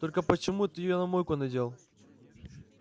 только почему ты её на майку надел